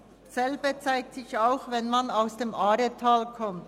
Dasselbe gilt auch für Personen, die aus dem Aaretal kommen.